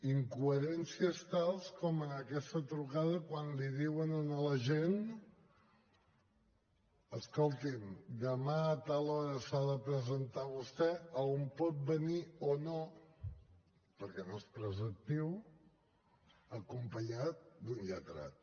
incoherències tals com en aquesta trucada quan li diuen a l’agent escolti’m demà a tal hora s’ha de presentar vostè a on pot venir o no perquè no és preceptiu acompanyat d’un lletrat